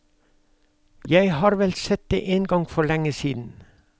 Jeg har vel sett det en gang for lenge siden.